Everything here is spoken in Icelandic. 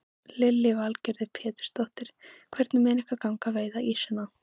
Lillý Valgerður Pétursdóttir: Hvernig mun ykkur ganga að veiða ýsuna?